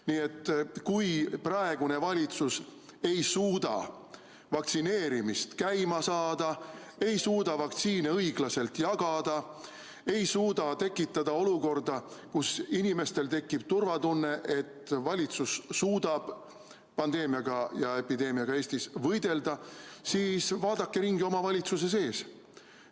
Nii et kui praegune valitsus ei suuda vaktsineerimist käima saada, ei suuda vaktsiine õiglaselt jagada, ei suuda tekitada olukorda, kus inimestel tekib kindlustunne, et valitsus suudab pandeemiaga Eestis võidelda, siis vaadake ringi oma valitsuse sees.